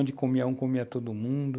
Onde comia um, comia todo mundo.